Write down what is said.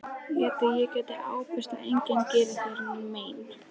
Ég held ég geti ábyrgst að enginn geri þér mein.